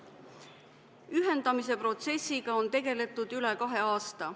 Ühendamise protsessiga on tegeletud üle kahe aasta.